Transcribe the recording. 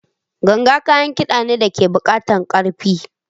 Ganga kayan kida ne da ke buƙatar ƙarfi.